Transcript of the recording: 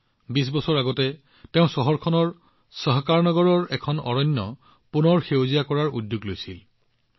২০ বছৰ পূৰ্বে তেওঁ চহৰখনৰ সহকাৰনগৰৰ এখন অৰণ্য পুনৰুজ্জীৱিত কৰাৰ উদ্যোগ গ্ৰহণ কৰিছিল